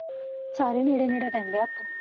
ਸਾਰੇ ਨੇੜੇ ਨੇੜੇ ਰਹਿੰਦੇ ਆ ਓਥੇ